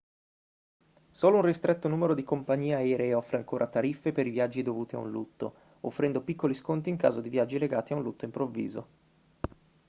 solo un ristretto numero di compagnie aeree offre ancora tariffe per i viaggi dovuti a un lutto offrendo piccoli sconti in caso di viaggi legati a un lutto improvviso